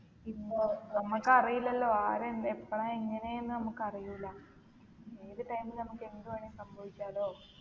പിന്ന നമ്മക്കറീല്ലലോ ആര് എന്ത് എപ്പളാ എങ്ങനെന്ന് അമ്മക്കറിയൂല ഏത് time ല് അമ്മക്ക് എന്ത് വേണേലും സംഭവിക്കാ ലോ